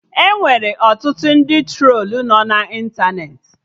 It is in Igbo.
Enwere ọtụtụ ndị trolu nọ na ịntanetị